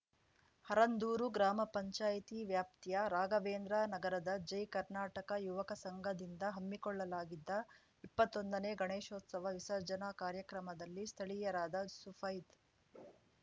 ಹರಂದೂರು ಗ್ರಾಮ ಪಂಚಾಯ್ತಿ ವ್ಯಾಪ್ತಿಯ ರಾಘವೇಂದ್ರ ನಗರದ ಜೈ ಕರ್ನಾಟಕ ಯುವಕ ಸಂಘದಿಂದ ಹಮ್ಮಿಕೊಳ್ಳಲಾಗಿದ್ದ ಇಪ್ಪತ್ತೊಂದನೇ ಗಣೇಶೋತ್ಸವ ವಿಸರ್ಜನಾ ಕಾರ್ಯಕ್ರಮದಲ್ಲಿ ಸ್ಥಳೀಯರಾದ ಸುಫೈದ್‌